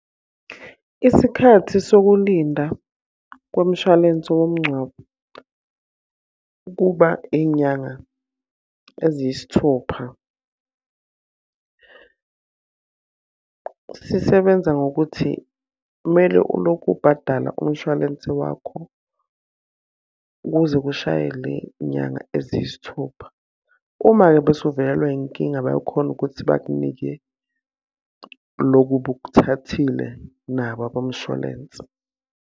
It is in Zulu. Isikhathi sokulinda komshwalense womngcwabo kuba iy'nyanga eziyisithupha. Sisebenza ngokuthi kumele ulokhu ubhadala umshwalense wakho kuze kushaye le nyanga eziyisithupha. Uma-ke bese uvelelwa yinkinga bayakhona ukuthi bakunike loku obukuthathile nabo abomshwalense.